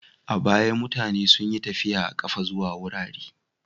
A baya, mutane sun yi tafi a ƙafa zuwa wurare.